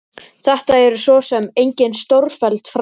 Þetta eru svo sem engin stórfelld fræði.